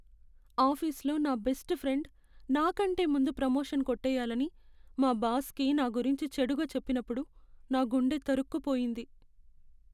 ఆఫీస్లో నా best friend నా కంటే ముందు ప్రమోషన్ కొట్టేయాలని మా బాస్కి నా గురించి చెడుగా చెప్పినప్పుడు నా గుండె తరుక్కుపోయింది .